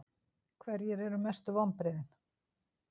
Hverjir eru mestu vonbrigðin?